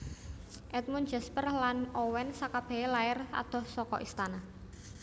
Edmund Jasper lan Owen sakabehé lair adoh saka istana